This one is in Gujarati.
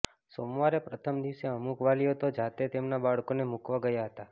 સોમવારે પ્રથમ દિવસે અમુક વાલીઓ તો જાતે તેમના બાળકોને મૂકવા ગયા હતા